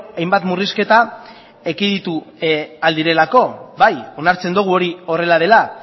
hainbat murrizketa ekiditu ahal direlako bai onartzen dugu hori horrela dela